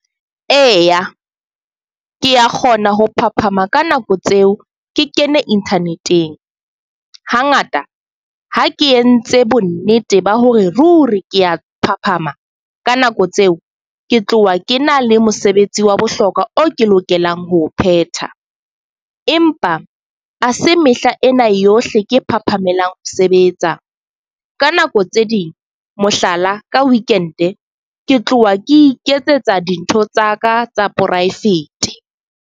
Eya, ke a kgona ho phaphama ka nako tseo ke kene internet-eng. Ha ngata ha ke entse bo nnete ba hore ruri ke a phaphama ka nako tseo, ke tloha ke na le mosebetsi wa bohlokwa o ke lokelang ho phetha. Empa ha se mehla ena yohle ke phaphamelang ho sebetsa. Ka nako tse ding, mohlala ka weekend ke tloha ke iketsetsa dintho tsaka tsa private.